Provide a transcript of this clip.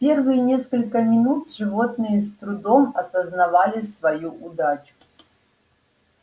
первые несколько минут животные с трудом осознавали свою удачу